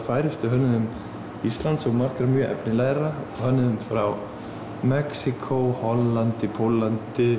færustu hönnuðum Íslands og margra mjög efnilegra hönnuðum frá Mexíkó Hollandi Póllandi